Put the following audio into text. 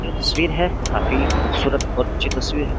जो तस्वीर है काफी खूबसूरत और उच्च तस्वीर है।